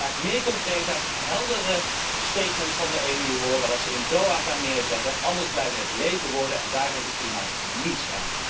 Ik wil graag meer concreetheid, heldere statements van de EU horen, wat ze in Doha gaan neerzetten. Anders blijven het lege woorden en daar heeft het klimaat niets aan.